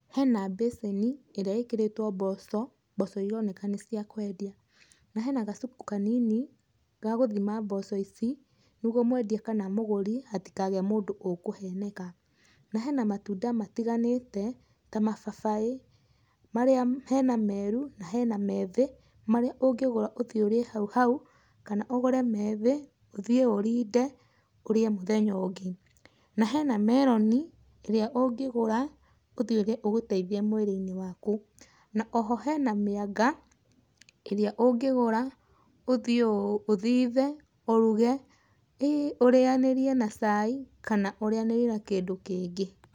Hena mbĩcĩni, ĩrĩa ĩkĩrĩtwo mboco. Mboco ironeka nĩ cia kwendia. Na hena gacuku kanini, ga gũthima mboco ici, nĩguo mwendia kana mũgũri, hatikagĩe mũndũ ũkũheneka. Na hena matunda matiganĩte, ta mababaĩ. Marĩa hena meru, na hena methĩ, marĩa ũngĩgũra ũthie ũrĩe hau hau, kana ũgũre methi, ũthiĩ ũrinde ũrĩe mũthenya ũngĩ. Na hena meroni, ĩrĩa ũngĩgũra, ũthiĩ ũige ũgũteithie mwĩrĩ-inĩ waku. Na oho hena mĩanga, ĩrĩa ũngĩgũra, ũthiĩ ũthithe, ũruge, ũrĩanĩrire na cai kana ũrĩanĩrie na kĩndũ kĩngĩ.